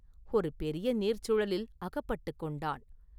ஒரு பெரிய நீர்ச் சுழலில் அகப்பட்டுக் கொண்டான்.